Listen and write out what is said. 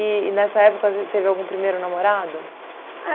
nessa época você teve algum primeiro namorado?